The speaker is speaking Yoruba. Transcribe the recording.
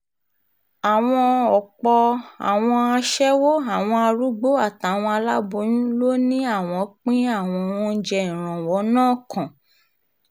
àwọn ọ̀pọ̀ àwọn aṣẹ́wó àwọn arúgbó àtàwọn aláboyún ló ní àwọn pín àwọn oúnjẹ ìrànwọ́ náà kàn